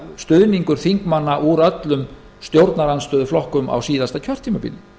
stuðningur þingmanna úr öllum stjórnarandstöðuflokkum á síðasta kjörtímabili